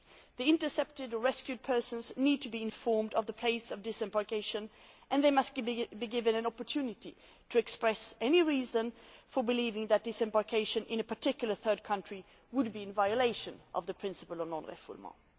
The intercepted or rescued persons need to be informed of the place of disembarkation and they must be given an opportunity to express any reason for believing that disembarkation in a particular third country would be in violation of the principle of non refoulement.